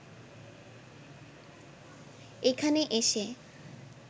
এখানে এসে